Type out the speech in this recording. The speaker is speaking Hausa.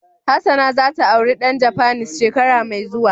Hassana za ta aure dan Japanese shekara mai zuwa.